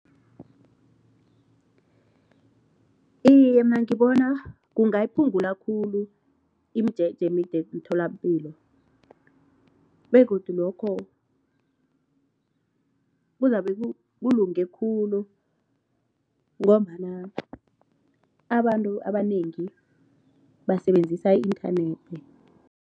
Iye, mina ngibona kungayiphungula khulu imijeje emide emtholapilo begodu lokho kuzabe kulunge khulu ngombana abantu abanengi basebenzisa i-inthanethi.